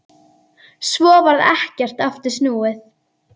Svo varð ekkert aftur snúið.